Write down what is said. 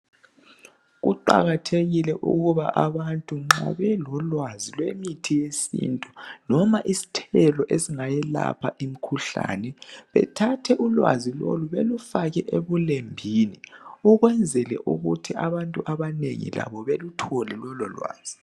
Kuqakathekile ukuba abantu nxa belolwazi lwemithi yesintu noma isithelo esigayelapha imikhuhlane bethathe ulwazi lolu belufake ebulembini ukwenzela ukuthi abantu abanengi labo beluthole lowo lwazi